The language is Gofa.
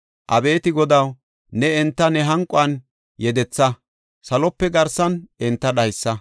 Abeeti Godaw, ne enta ne hanquwan yedetha; salope garsan enta dhaysa.